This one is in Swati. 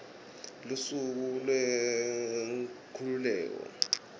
lusuku lwenkhululeko